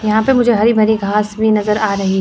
यहां पर मुझे हरी भरी घास भी नज़र आ रही--